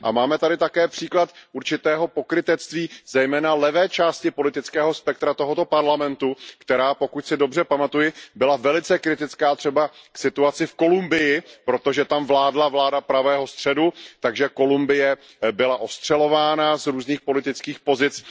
A máme tady také příklad určitého pokrytectví zejména levé části politického spektra tohoto parlamentu, která, pokud si dobře pamatuji, byla velice kritická třeba k situaci v Kolumbii, protože tam vládla vláda pravého středu, takže Kolumbie byla ostřelována z různých politických pozic.